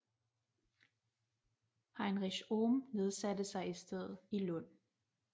Heinrich Ohm nedsatte sig i stedet i Lund